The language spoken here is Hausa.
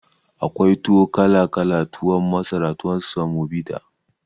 Akwai tuwo kala kala tuwon masara tuwon samobita